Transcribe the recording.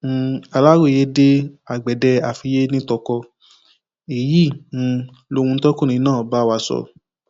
um aláròye dé agbede àfiyé nìtọkọ èyí um lohun tọkùnrin náà bá wa sọ